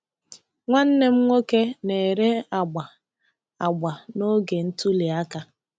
Nwanne m nwoke na-ere agba agba n'oge ntuli aka.